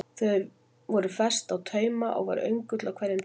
Þar voru festir á taumar og var öngull á hverjum taumi.